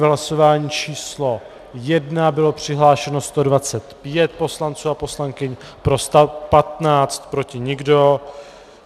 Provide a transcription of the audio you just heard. V hlasování číslo 1 bylo přihlášeno 125 poslanců a poslankyň, pro 115, proti nikdo.